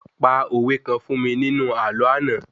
pa òwe kan fún mi nínu àlọ́ ana